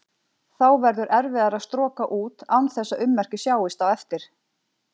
Þá verður erfiðara að stroka út án þess að ummerki sjáist á eftir.